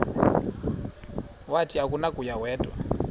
wathi akunakuya wedw